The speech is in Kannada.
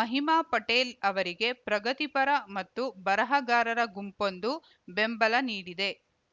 ಮಹಿಮಾ ಪಟೇಲ್‌ ಅವರಿಗೆ ಪ್ರಗತಿಪರ ಮತ್ತು ಬರಹಗಾರರ ಗುಂಪೊಂದು ಬೆಂಬಲ ನೀಡಿದೆ